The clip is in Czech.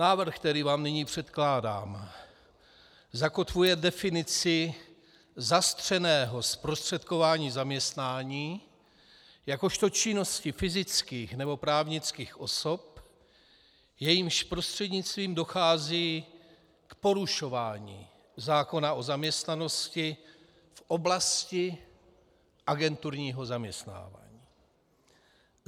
Návrh, který vám nyní předkládám, zakotvuje definici zastřeného zprostředkování zaměstnání jakožto činnosti fyzických nebo právnických osob, jejichž prostřednictvím dochází k porušování zákona o zaměstnanosti v oblasti agenturního zaměstnávání.